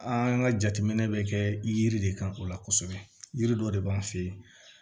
An ka jateminɛ bɛ kɛ yiri de kan o la kosɛbɛ yiri dɔ de b'an fɛ yen